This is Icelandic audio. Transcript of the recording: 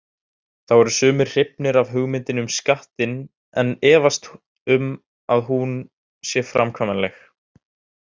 Þá eru sumir hrifnir af hugmyndinni um skattinn en efast um að hún sé framkvæmanleg.